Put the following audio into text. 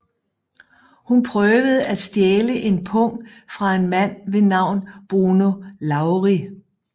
Hun prøvede at stjæle en pung fra en mand ved navn Bruno Lawrie